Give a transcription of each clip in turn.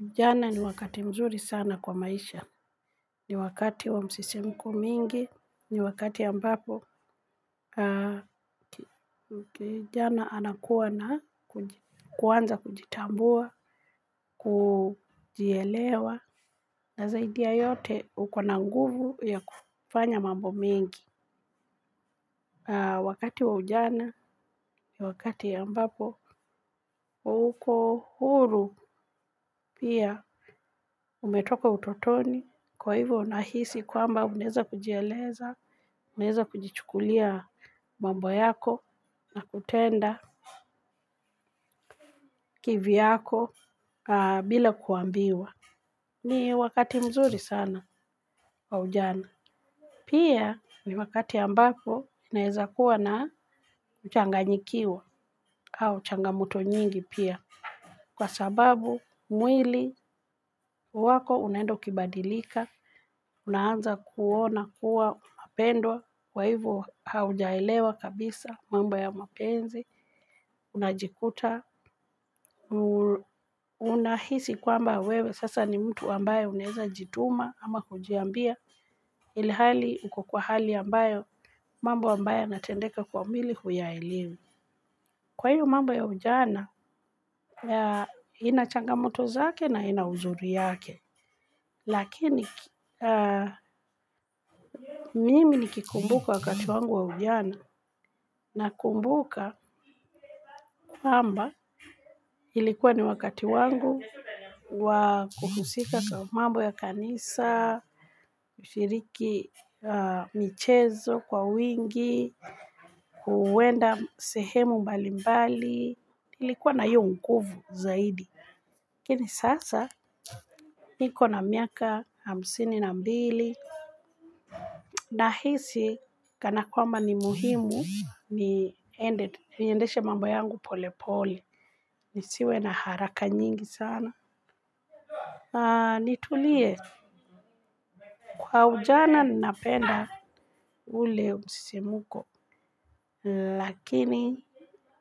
Ujana ni wakati mzuri sana kwa maisha. Ni wakati wa msisimiko mingi ni wakati ambapo kijana anakua na kuanza kujitambua. Kujielewa na zaidi ya yote uko na nguvu ya kufanya mambo mengi. Wakati wa ujana ni wakati ambapo uko huru pia. Umetoka utotoni. Kwa hivyo unahisi kwamba unaeza kujieleza unaeza kujichukulia mambo yako na kutenda kivyako bila kuambiwa. Ni wakati mzuri sana kwa ujana. Pia ni wakati ambako unaeza kuwa na kuchanganyikiwa au changamoto nyingi pia. Kwa sababu mwili wako unaenda ukibadilika unaanza kuona kuwa unapendwa kwa hivo haujaelewa kabisa mambo ya mapenzi unajikuta, unahisi kwamba wewe sasa ni mtu ambae unaeza jituma ama kujiambia ilhali uko kwa hali ambayo mambo ambayo yana tendeka kwa mwili huyaelewi. Kwa hiyo mambo ya ujana, ina changamoto zake na ina uzuri yake. Lakini mimi nikikumbuka wakati wangu wa ujana nakumbuka kamba ilikuwa ni wakati wangu wa kuhusika kwa mambo ya kanisa, kushiriki michezo kwa wingi, kuenda sehemu mbalimbali nilikuwa na hiyo nguvu zaidi. Lakini sasa niko na miaka hamsini na mbili nahisi kana kwamba ni muhimu niendeshe mambo yangu pole pole. Nisiwe na haraka nyingi sana. Nitulie kwa ujana nnapenda ule msisimuko. Lakini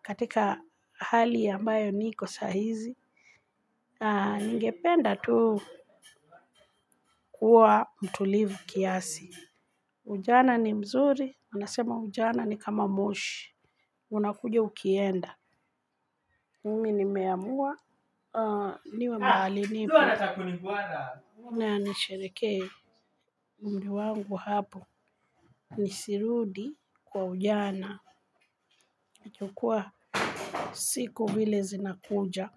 katika hali ambayo niko sahizi. Ningependa tu kuwa mtulivu kiasi. Ujana ni mzuri unasema ujana ni kama moshi. Unakuja ukienda. Mimi nime amua. Niwe mahali nipo na nisherehekee umri wangu wa hapo. Nisirudi kwa ujana. Nachukua siku vile zinakuja.